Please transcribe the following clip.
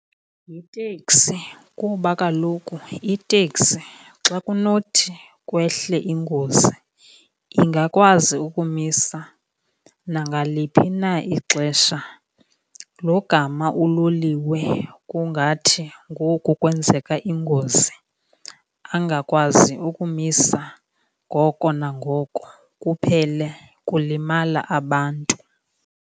Yiteksi kuba kaloku iteksi xa kunothi kwehle ingozi ingakwazi ukumisa nangaliphi na ixesha. Logama uloliwe kungathi ngoku kwenzeka ingozi, angakwazi ukumisa ngoko nangoko kuphele kulimala abantu.